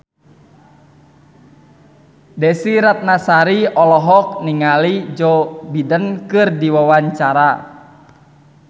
Desy Ratnasari olohok ningali Joe Biden keur diwawancara